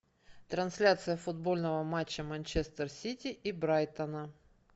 трансляция футбольного матча манчестер сити и брайтона